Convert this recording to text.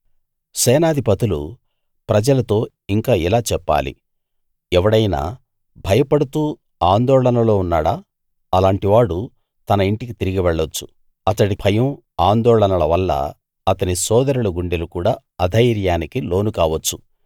సేనాధిపతులు ప్రజలతో ఇంకా ఇలా చెప్పాలి ఎవడైనా భయపడుతూ ఆందోళనలో ఉన్నాడా అలాంటివాడు తన ఇంటికి తిరిగి వెళ్ళొచ్చు అతడి భయం ఆందోళనల వల్ల అతని సోదరుల గుండెలు కూడా అధైర్యానికి లోను కావచ్చు